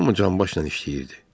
Hamı canbaşla işləyirdi.